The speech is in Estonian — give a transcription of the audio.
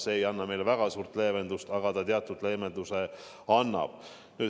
See ei anna meile väga suurt leevendust, aga teatud leevenduse annab.